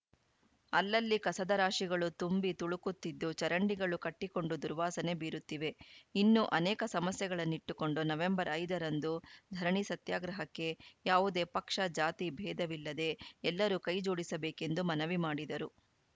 ಅಲ್ಲಲ್ಲಿ ಕಸದ ರಾಶಿಗಳು ತುಂಬಿ ತುಳುಕುತ್ತಿದ್ದು ಚರಂಡಿಗಳು ಕಟ್ಟಿಕೊಂಡು ದುರ್ವಾಸನೆ ಬೀರುತ್ತಿವೆ ಇನ್ನೂ ಅನೇಕ ಸಮಸ್ಯೆಗಳನ್ನಿಟ್ಟುಕೊಂಡು ನವೆಂಬರ್ ಐದ ರಂದು ಧರಣಿ ಸತ್ಯಾಗ್ರಹಕ್ಕೆ ಯಾವುದೇ ಪಕ್ಷ ಜಾತಿ ಬೇಧವಿಲ್ಲದೆ ಎಲ್ಲರೂ ಕೈ ಜೋಡಿಸಬೇಕೆಂದು ಮನವಿ ಮಾಡಿದರು